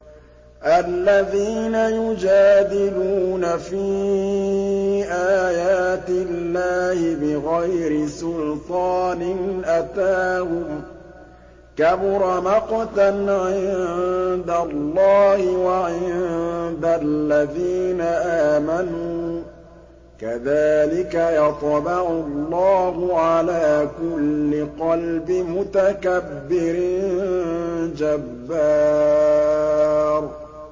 الَّذِينَ يُجَادِلُونَ فِي آيَاتِ اللَّهِ بِغَيْرِ سُلْطَانٍ أَتَاهُمْ ۖ كَبُرَ مَقْتًا عِندَ اللَّهِ وَعِندَ الَّذِينَ آمَنُوا ۚ كَذَٰلِكَ يَطْبَعُ اللَّهُ عَلَىٰ كُلِّ قَلْبِ مُتَكَبِّرٍ جَبَّارٍ